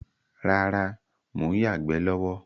Rárá, mo ń yagbẹ̀ lọ́wọ́